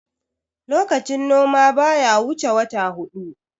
lokacin noma baya wuce wata hudu